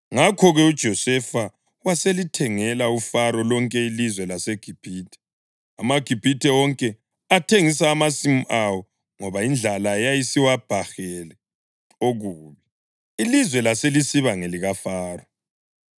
Ngakho-ke uJosefa waselithengela uFaro lonke ilizwe laseGibhithe. AmaGibhithe wonke athengisa amasimu awo ngoba indlala yayisiwabhahele okubi. Ilizwe laselisiba ngelikaFaro,